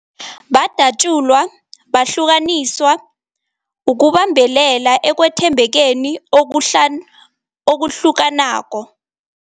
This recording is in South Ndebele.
Badatjulwa, bahlukaniswa ukubambelela ekwethembekeni okuhlukanako.